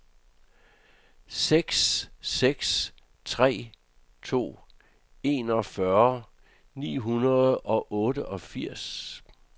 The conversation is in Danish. seks seks tre to enogfyrre ni hundrede og otteogfirs